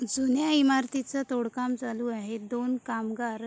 जुन्या इमारतीचं तोड काम चालू आहे दोन कामगार--